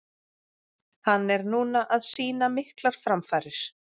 Hann er núna að sýna miklar framfarir.